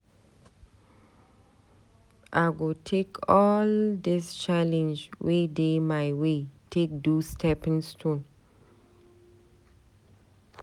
I go take all dis challenge wey dey my way take do stepping stone.